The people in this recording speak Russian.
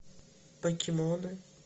покемоны